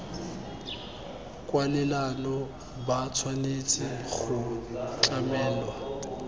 kwalelano ba tshwanetse go tlamelwa